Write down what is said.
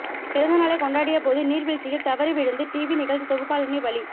பிறந்தநாளை கொண்டாடிய போது நீர்வீழ்ச்சியில் தவறி வீழ்ந்து டிவி நிகழ்ச்சி தொகுப்பாளினி பலி